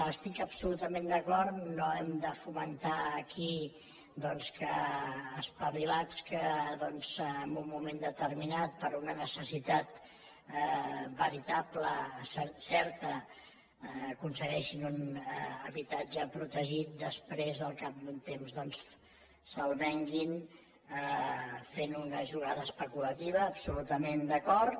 estic absolutament d’acord no hem de fomentar aquí doncs que espavilats que en un moment determinat per una necessitat veritable certa aconsegueixin un habitatge protegit i després al cap d’un temps se’l venguin fent una jugada especulativa absolutament d’acord